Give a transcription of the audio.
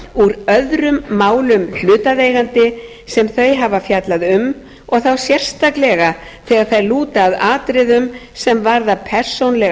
upplýsinga úr öðrum málum hlutaðeigandi sem þau hafa fjallað um og þá sérstaklega þegar þær lúta að atriðum sem persónulega